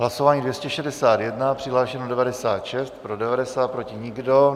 Hlasování 261, přihlášeno 96, pro 90, proti nikdo.